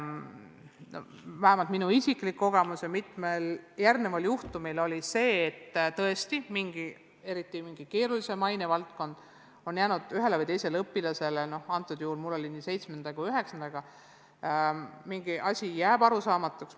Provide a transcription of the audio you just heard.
Vähemalt minu isiklik kogemus mitmel juhul on olnud selline, et tõesti, mõni keerulisem ainevaldkond on jäänud ühele või teisele õpilasele – antud juhul oli mul tegemist seitsmenda ja üheksanda klassi õpilasega – arusaamatuks.